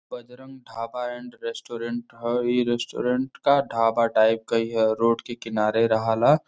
Bajrang dhaba and restaurant ह। इ restaurant का ढाबा टाइप क ही ह। रोड के किनारे रहल ह।